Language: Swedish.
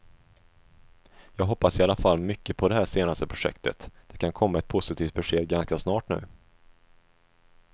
Jag hoppas i alla fall mycket på det här senaste projektet, det kan komma ett positivt besked ganska snart nu.